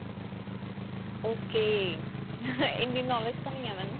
ok. ਇੰਨੀ knowledge ਤਾਂ ਨਹੀਂ ਹੈ ਮੈਂਨੂੰ.